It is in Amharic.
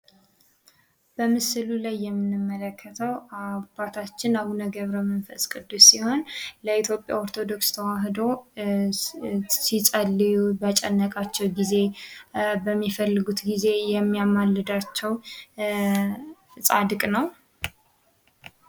በምስሉ ላይ የምንመለከተው አቡነ ገብረመንፈስ ቅዱስ ሲሆን፤ ለኢትዮጵያ ኦርቶዶክስ ተዋህዶ ሲጸልዩ በጨነቃቸው ጊዜ የሚያማልድ ጻድቅ ነው።